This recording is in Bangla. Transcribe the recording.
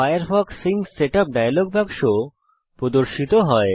ফায়ারফক্স সিঙ্ক সেটআপ ডায়লগ বাক্স প্রদর্শিত হয়